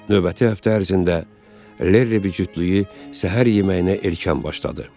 Növbəti həftə ərzində Lerri bicütlüyü səhər yeməyinə erkən başladı.